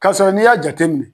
Kasɔrɔ n'i y'a jateminɛ